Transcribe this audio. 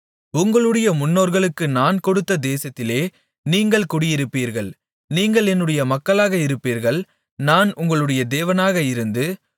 உங்களுடைய முன்னோர்களுக்கு நான் கொடுத்த தேசத்திலே நீங்கள் குடியிருப்பீர்கள் நீங்கள் என்னுடைய மக்களாக இருப்பீர்கள் நான் உங்களுடைய தேவனாக இருந்து